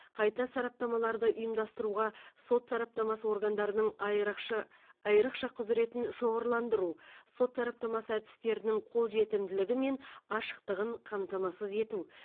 қайта сараптамаларды ұйымдастыруға сот сараптамасы органдарының айрықшы айрықша құзыретін шоғырландыру сот сараптамасы әдістерінің қол жетімділігі мен ашықтығын қамтамасыз ету